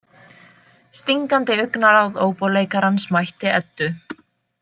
Stingandi augnaráð óbóleikarans mætti Eddu.